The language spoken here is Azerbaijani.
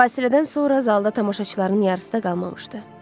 Fasilədən sonra zalda tamaşaçıların yarısı da qalmamışdı.